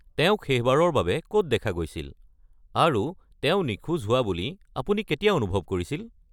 তেওঁক শেষবাৰৰ বাবে ক'ত দেখা গৈছিল আৰু তেওঁ নিখোজ হোৱা বুলি আপুনি কেতিয়া অনুভৱ কৰিছিল?